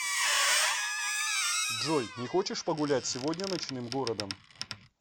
джой не хочешь погулять сегодня ночным городом